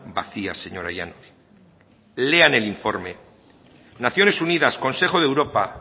vacías señora llanos lean el informe naciones unidas consejo de europa